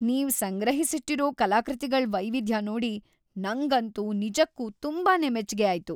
ನೀವ್ ಸಂಗ್ರಹಿಸಿಟ್ಟಿರೋ ಕಲಾಕೃತಿಗಳ್ ವೈವಿಧ್ಯ ನೋಡಿ ನಂಗಂತೂ ನಿಜಕ್ಕೂ ತುಂಬಾನೇ ಮೆಚ್ಗೆ ಆಯ್ತು.